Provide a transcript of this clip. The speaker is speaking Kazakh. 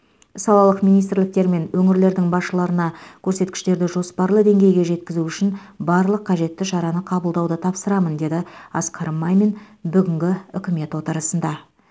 салалық министрліктер мен өңірлердің басшыларына көрсеткіштерді жоспарлы деңгейге жеткізу үшін барлық қажетті шараны қабылдауды тапсырамын деді асқар мамин бүгінгі үкімет отырысында